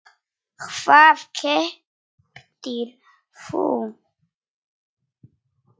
Hvað keyptir þú?